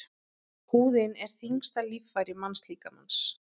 Húðin er þyngsta líffæri mannslíkamans.